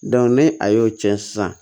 ni a y'o cɛn sisan